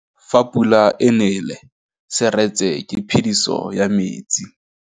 Fa pula e nelê serêtsê ke phêdisô ya metsi.